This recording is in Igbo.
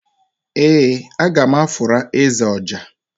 ee, a ga m afụra eze ọjà.